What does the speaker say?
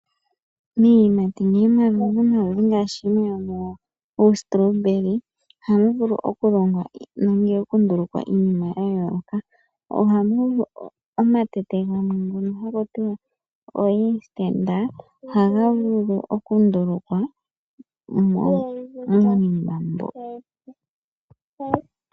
Miiyimati yimwe yomuyo ngaashi uustolobeli ohamu vulu oku longwa nenge oku ndulukwa iinima ya yooloka. Omatete gamwe ngono haku tiwa o inistenta ohaga vulu oku ndulukwa miinima mbyo.